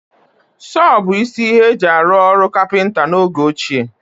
Sọọ bụ isi ihe e ji arụ ọrụ kapịnta n'oge ochie